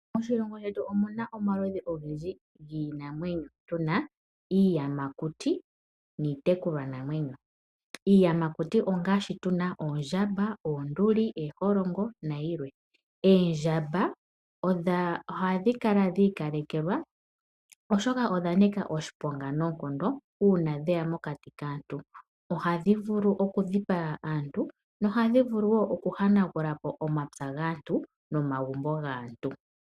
Moshilongo shetu omuna omaludhi ogendji giinamweno. Tuna iiyamakuti niitekulwa namwenyo, iiyamakuti ongaashi tuna oondjamba, oonduli, eeholongo na yilwe. Oondjamba ohadhi kala dhi ikalekelwa oshoka odhanika oshiponga noonkondo uuna dheya mokati kaantu. Ohadhi vulu okudhipaga aantu nohadhi vulu woo okuhanagula po omapya nomagumbo gaantu.